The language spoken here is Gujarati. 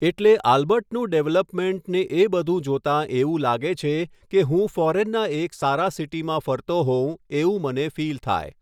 એટલે આલ્બર્ટનું ડૅવલપમેન્ટ ને એ બધુ જોતાં એવું લાગે છે કે હું ફૉરેનના એક સારા સિટીમાં હું ફરતો હોઉં એવું મને ફીલ થાય.